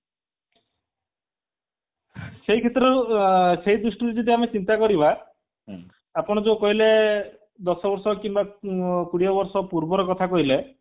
ସେଇ କ୍ଷେତ୍ରରୁ ସେଇ ଦୃଷ୍ଟିରୁ ଯଦି ଆମେ ଚିନ୍ତା କରିବା ଆପଣ ଯୋଉ କହିଲେ ଦଶବର୍ଷ କିମ୍ବା କୋଡିଏ ବର୍ଷ ପୂର୍ବର କଥା କହିଲେ